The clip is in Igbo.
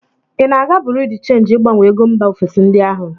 Ị na-aga buru dị chenji ịgbanwe ego mba ofesi ndị ahụ?